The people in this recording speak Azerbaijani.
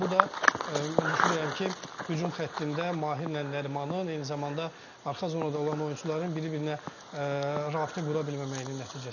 Bu da mən düşünürəm ki, hücum xəttində Mahirlə Nərimanın, eyni zamanda arxa zonada olan oyunçuların bir-birinə rabitə qura bilməməyinin nəticəsidir.